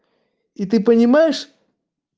и ты понимаешь